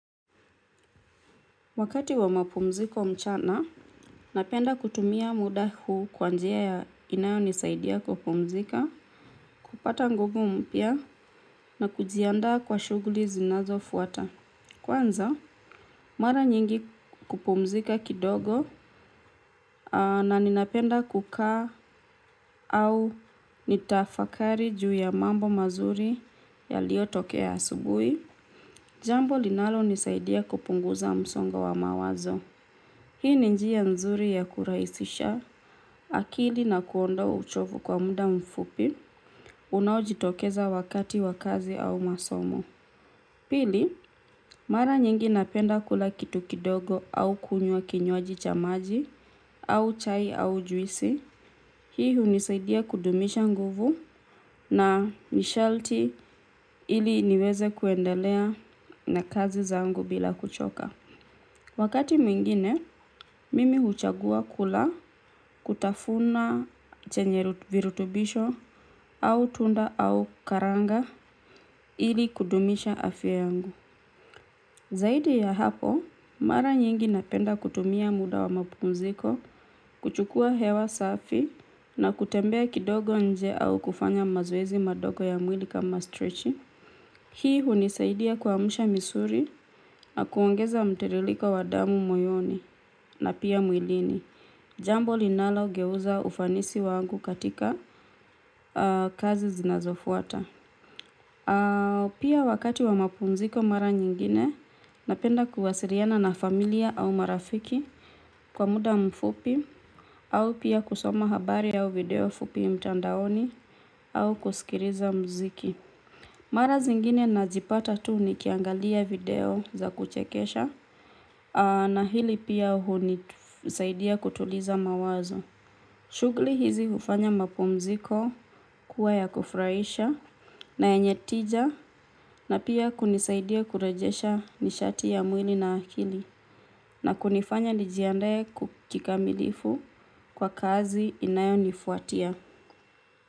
Wakati wa mapumziko mchana, napenda kutumia muda huu kwa njia ya inayonisaidia kupumzika, kupata nguvu mpya na kujiandaa kwa shuguli zinazo fuata. Kwanza, mara nyingi kupumzika kidogo na ninapenda kukaa au nitafakari juu ya mambo mazuri yaliotokea asubuhi, jambo linalo nisaidia kupunguza msongo wa mawazo. Hii ni njia nzuri ya kurahisisha akili na kuondoa uchovu kwa muda mfupi unaojitokeza wakati wa kazi au masomo. Pili, mara nyingi napenda kula kitu kidogo au kunywa kinywaji cha maji au chai au juisi. Hii hunisaidia kudumisha nguvu na ni sharti ili niweze kuendelea na kazi zangu bila kuchoka. Wakati mwingine, mimi huchagua kula kutafuna chenye virutubisho au tunda au karanga ili kudumisha afya yangu. Zaidi ya hapo, mara nyingi napenda kutumia muda wa mapukunziko, kuchukua hewa safi na kutembea kidogo nje au kufanya mazoezi madogo ya mwili kama strechi. Hii hunisaidia kuamsha misuli na kuongeza mtiririko wa damu moyoni na pia mwilini. Jambo linalogeuza ufanisi wangu katika kazi zinazofuata. Pia wakati wa mapumziko mara nyingine napenda kuwasiliana na familia au marafiki kwa muda mfupi au pia kusoma habari au video fupi mtandaoni au kusikiliza muziki mara zingine najipata tu nikiangalia video za kuchekesha na hili pia hunisaidia kutuliza mawazo. Shugli hizi hufanya mapumziko kuwa ya kufurahisha na yenye tija na pia kunisaidia kurejesha nishati ya mwili na akili na kunifanya nijiandae kikamilifu kwa kazi inayo nifuatia.